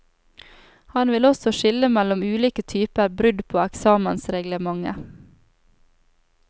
Han vil også skille mellom ulike typer brudd på eksamensreglementet.